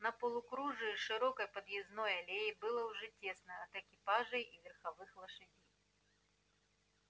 на полукружии широкой подъездной аллеи было уже тесно от экипажей и верховых лошадей